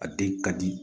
A den ka di